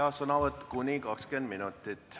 Sõnavõtt kestab kuni 20 minutit.